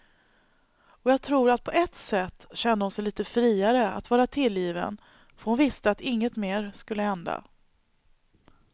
Och jag tror att på ett sätt kände hon sig lite friare att vara tillgiven för att hon visste att inget mer skulle hända.